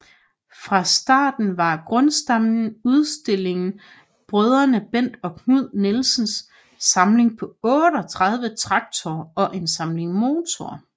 Fra starten var grundstammen i udstillingen brødrene Bent og Knud Nielsens samling på 38 traktorer og en samling motorer